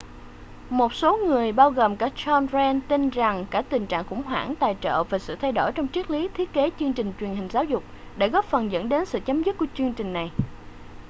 một số người bao gồm cả john grant tin rằng cả tình trạng khủng hoảng tài trợ và sự thay đổi trong triết lý thiết kế chương trình truyền hình giáo dục đã góp phần dẫn đến sự chấm dứt của chương trình này